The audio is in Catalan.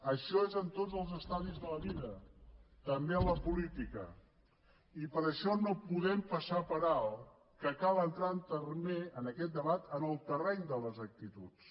això és en tots els estadis de la vida també en la política i per això no podem passar per alt que cal entrar també en aquest debat en el terreny de les actituds